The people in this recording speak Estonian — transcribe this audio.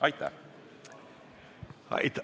Aitäh!